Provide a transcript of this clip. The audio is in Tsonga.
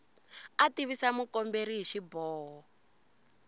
a tivisa mukomberi hi xiboho